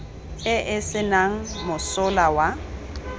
e e senang mosola wa